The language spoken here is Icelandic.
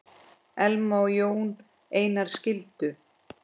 Elma og Jón Einar skildu.